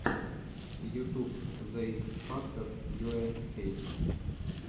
ютуб зе икс фактор ю эс эй